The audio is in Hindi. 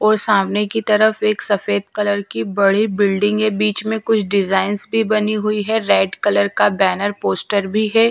और सामने की तरफ एक सफेद कलर की बड़ी बिल्डिंग है बीच में कुछ डिजाइंस भी बनी हुई है रेड कलर का बैनर पोस्टर भी है।